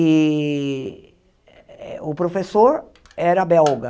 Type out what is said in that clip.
E eh o professor era belga.